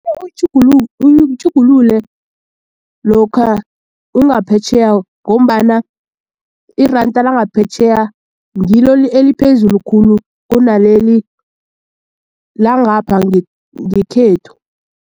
Uyitjhugulule lokha ungaphetjheya ngombana iranda langaphetjheya ngilo eliphezulu khulu kunaleli langapha ngekhethu.